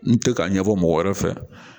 N te ka ɲɛfɔ mɔgɔ wɛrɛ fɛ